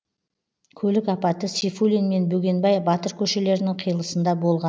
көлік апаты сейфуллин мен бөгенбай батыр көшелерінің қиылысында болған